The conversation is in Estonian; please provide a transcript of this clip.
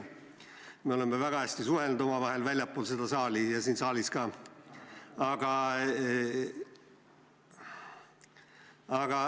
Me oleme omavahel väga hästi suhelnud väljaspool seda saali ja siin saalis ka.